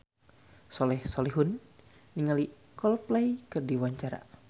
Soleh Solihun olohok ningali Coldplay keur diwawancara